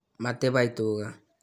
matibai tuga